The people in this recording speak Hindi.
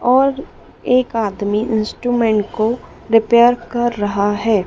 और एक आदमी इंस्ट्रूमेंट को रिपेयर कर रहा है।